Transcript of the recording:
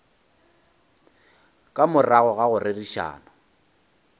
ka morago ga go rerišana